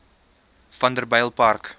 vanderbijlpark